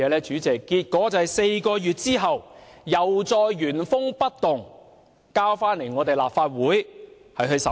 主席，結果在4個月後，《條例草案》原封不動地再次提交立法會審議。